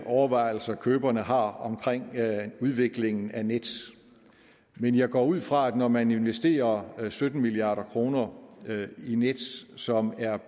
overvejelser køberne har omkring udviklingen af nets men jeg går ud fra at det når man investerer sytten milliard kroner i nets som er